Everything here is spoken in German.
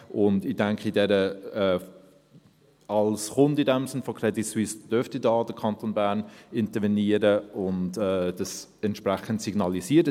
»– Ich denke, als Kunde der CS dürfte der Kanton Bern hier intervenieren und das entsprechend signalisieren.